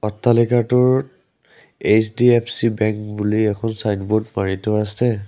অট্টালিকাটোৰ HDFC bank বুলি এখন ছাইনব'ৰ্ড মাৰি থোৱা আছে।